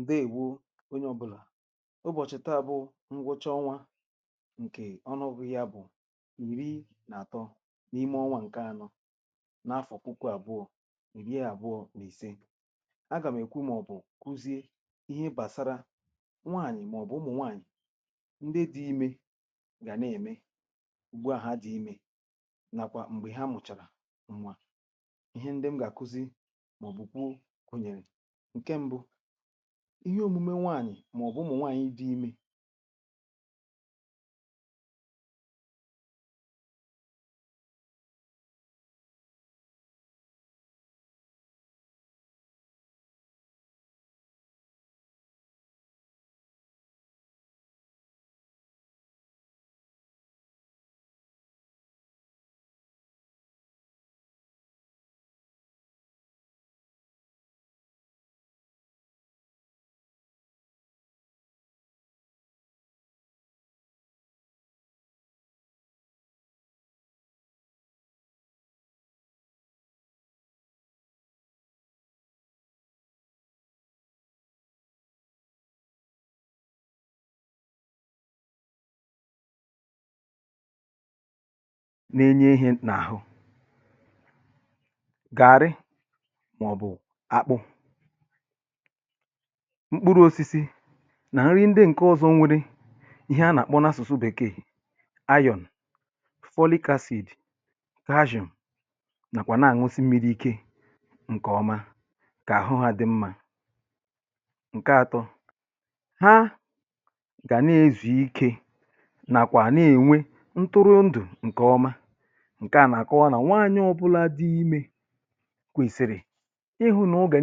ǹdeèwo onye ọ̇bụ̇là um ụbọ̀chị̀ta bụ̇ ngwọcha ọnwa ǹkè ọnụ ọ̇bụ̇ ya bụ̀ ìri n’àtọ n’ime ọnwa ǹke anọ n’afọ̀ puku àbụọ̇ ìri ya àbụọ̇ n’ise agà m̀ èkwu màọ̀bụ̀ kwụzie ihe gbàsara nwaànyị̀ màọ̀bụ̀ ụmụ̀ nwaànyị̀ ndị dị̇ imė gà n’ème ugbo àha dị̇ imė nàkwà m̀gbè ha mụ̀chàrà ihe omume nwanyị ma ọ bụ nwanyị dị ime na-enye ihẹ n’ahụ mkpụrụ osisi nà nri ndị ǹke ọzọ nwėrė ihe a nà-àkpọ n’asụ̀sụ bèkee iron, folic acid calcium nàkwà nà-àṅụsị mmiri̇ ike ǹkèọma kà àhụ ha dị mmȧ ǹke ȧtọ ha gà nà-ezù ike nàkwà nà-ènwe ntụrụ ndụ̀ ǹkèọma um ǹke à nà-àkọwa nà nwaànyị ọ̇bụ̇là dị imė kwèsìrì na-abụ̇ghị̇ i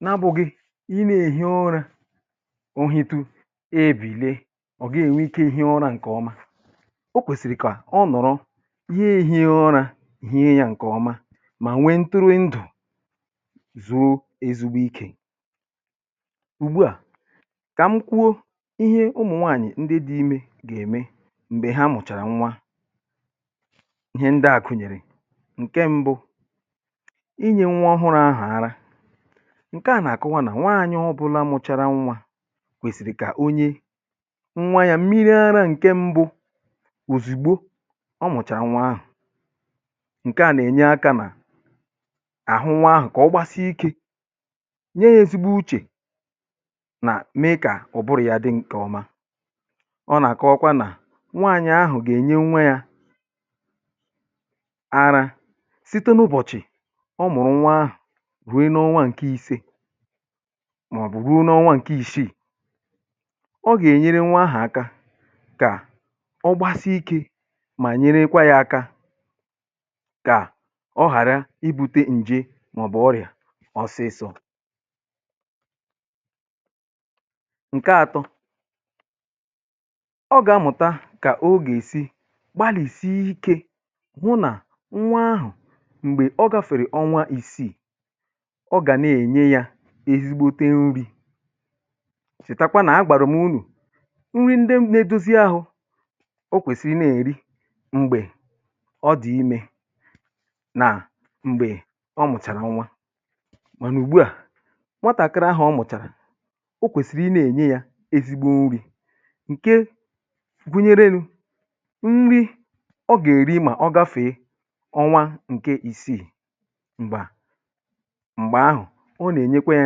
nà-èhi ọrȧ o hutu e bìle ọ̀ gị nwẹ ike ihe ọra ǹkè ọma o kwèsìrì kà ọọ̀ nọ̀rọ ihe èhi ihe ọra ihe yȧ ǹkè ọma mà nwẹ ntụrụndụ̀ zụụ ezugbo ikè ùgbu à kà m kwuo ihe ụmụ̀nwaànyị̀ ndị dị imẹ̇ gà-ème m̀gbè ha mụ̀chàrà nwa ihe ndị à kụ̀nyẹ̀rẹ̀ ǹke mbụ ǹkeà nà-àkụwa nà nwaànyị ọbụla mụchara nwa kwèsìrì kà onye nwa ya mmiri ara ǹke mbụ òzìgbo ọ mụ̀chàa nwa ahụ̀ ǹkeà nà-ènye akȧ nà àhụ um nwa ahụ̀ kà ọ gbasi ikė nye èzugbo uchè nà mee kà ọ̀ bụrụ̀ ya dị nkè ọma ọ nà-àkọọkwa nà nwaànyị ahụ̀ gà-ènye nwe ya ara site n’ụbọ̀chị̀ huė n’ọnwa ǹkè ise màọ̀bụ̀ ruo n’ọnwa ǹkè ishiì ọ gà-ènyere nwa ahụ̀ aka kà ọ gbasi ikė mà nyerekwa yȧ aka kà ọ ghàra ibu̇tė ǹje màọ̀bụ̀ ọrị̀à ọsịsọ̇ ǹke atọ ọ gà-amụ̀ta kà o gà-èsi gbalìsì ike hụ nà nwa ahụ̀ m̀gbè ọ gȧfèrè ọnwa isiì ọ gà na-ènye yȧ ezigbote n’ubi̇ sị̀takwa nà a gbàrà m unù nri ndị nȧ-edozi ahụ̇ o kwèsìrì na-èri mgbè ọ dị̇ imė nà mgbè ọ mụ̀chàrà nwa mànà ùgbu à nwatàkịrị ahụ̀ ọ mụ̀chàrà o kwèsìrì na-ènye yȧ ezigbo n’ubi̇ ǹke gùnyèrelu̇ nri ọ gà-èri mà ọ gafèe ọnwa ǹkè ìsii m̀gbè à m̀gbè ahụ̀ ọ nà ènyekwa yȧ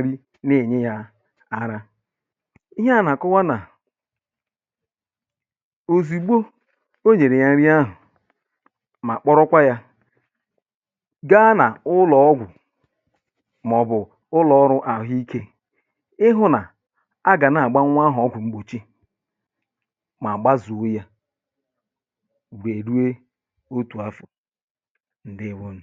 nri na-ènye yȧ ara ihe à nà-àkọwa nà òzìgbo o nyèrè yȧ nri ahụ̀ mà kpọrọkwa yȧ gaa n’ụlọ̀ ọgwụ̀ mà ọ̀ bụ̀ ụlọ̀ ọrụ̇ à hụ ikė ịhụ̇ nà a gà na-àgbanwu ahụ̀ ọgwụ̀ mgbòchi mà àgba zùuo yȧ wè rue otù afọ̀ um ǹdeèwonù